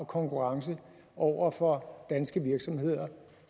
konkurrence over for danske virksomheder